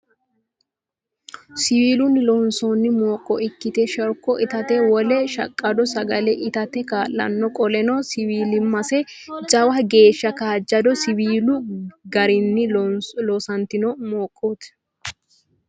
Siwiilunni loonsoonni mooqqo ikkite sherko itate, wole shaqqdo sagale itate kaa'lanno, qoleno siwiilimmase jawa geeshsha kaajjado siiwilu garenni loosantino mooqqooti.